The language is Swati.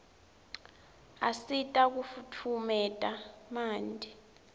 asita kufutfumeta manti